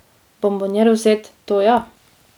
Bonboniero vzet, to ja!